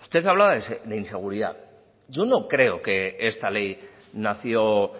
usted hablaba de inseguridad yo no creo que esta ley nació